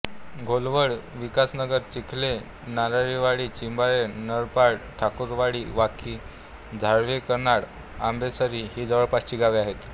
घोलवड विकासनगर चिखले नारळीवाडी चिंबावे नरपड ठाकूरवाडी वाकी झारळीकैनाड आंबेसरी ही जवळपासची गावे आहेत